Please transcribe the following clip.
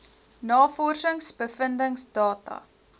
navorsings bevindings data